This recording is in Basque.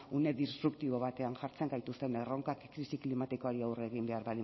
une disruptibo batean jartzen gaituzten erronkak krisi klimatikoari aurre egin behar